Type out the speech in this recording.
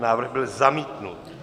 Návrh byl zamítnut.